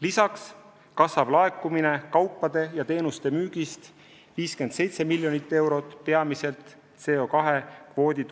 Lisaks kasvab laekumine kaupade ja teenuste müügist 57 miljonit eurot, seda peamiselt CO2